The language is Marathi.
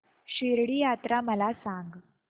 शिर्डी यात्रा मला सांग